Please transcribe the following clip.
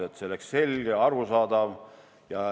See peab olema selge ja arusaadav.